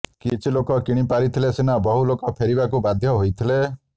କିଛି ଲୋକ କିଣି ପାରିଥିଲେ ସିନା ବହୁ ଲୋକ ଫେରିବାକୁ ବାଧ୍ୟ ହୋଇଥିଲେ